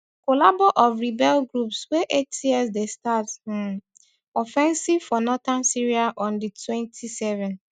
collabo of rebel groups wey hts dey start um offensive for northern syria on d twenty-seven